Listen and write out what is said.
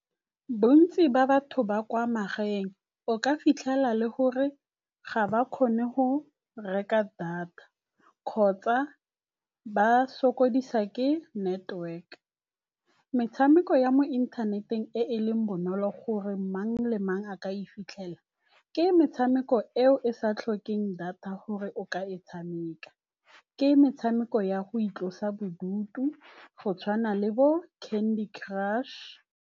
Bontsi ba batho ba kwa magaeng o ka fitlhela le gore ga ba kgone go reka data kgotsa ba sokodisa ke network. Metshameko ya mo inthaneteng e e leng bonolo gore mang le mang a ka e fitlhela, ke metshameko eo e sa tlhokeng data gore o ka e tshameka, ke metshameko ya go itlosa bodutu go tshwana le bo Candy Crush.